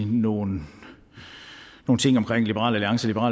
nogle ting omkring liberal alliance og